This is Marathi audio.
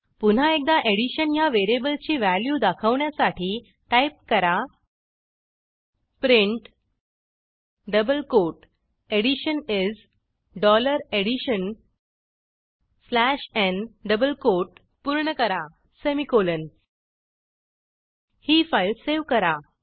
पुन्हा एकदा additionह्या व्हेरिएबलची व्हॅल्यू दाखवण्यासाठी टाईप करा print double quote addition is dollar addition slash n double quote पूर्ण करा सेमिकोलॉन ही फाईल सेव्ह करा